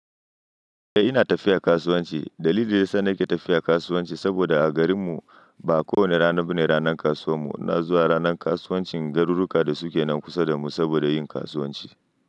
Eh ina tafiya kasuwanci. Dalili da yasa nake tafiya kasuwanci saboda a garinmu ba kowane rana bane ranan kasuwan mu. Ina zuwa ranan kasuwancin garuruka da suke nan kusa da mu saboda yin kasuwanci.